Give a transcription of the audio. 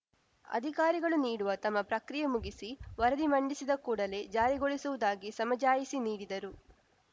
ಅಧಿಕಾರಿಗಳು ನೀಡುವ ತಮ್ಮ ಪ್ರಕ್ರಿಯೆ ಮುಗಿಸಿ ವರದಿ ಮಂಡಿಸಿದ ಕೂಡಲೇ ಜಾರಿಗೊಳಿಸುವುದಾಗಿ ಸಮಜಾಯಿಷಿ ನೀಡಿದರು